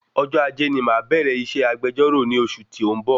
Ọjọ́ Ajé ni màá bẹ̀rẹ iṣẹ́ agbejọ́rọ̀ ni oṣù tí o n bọ̀